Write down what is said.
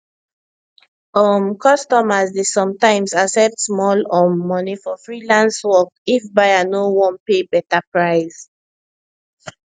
um customers dey sometimes accept small um money for freelance work if buyer no wan pay better price